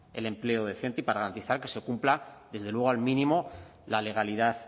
el empleo decente y para garantizar que se cumpla desde luego al mínimo la legalidad